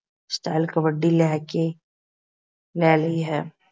Style kabaddi ਲੈ ਕੇ ਲੈ ਲਈ ਹੈ।